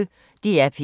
DR P1